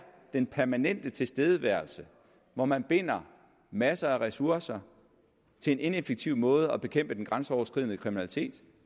den permanente tilstedeværelse hvor man binder masser af ressourcer til en ineffektiv måde at bekæmpe den grænseoverskridende kriminalitet